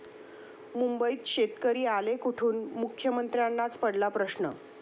मुंबईत शेतकरी आले कुठून? मुख्यमंत्र्यांनाच पडला प्रश्न!